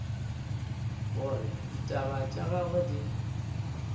gore ditaba tša gagwe di